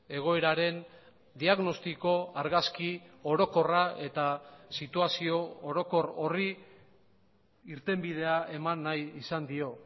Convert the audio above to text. egoeraren diagnostiko argazki orokorra eta situazio orokor horri irtenbidea eman nahi izan dio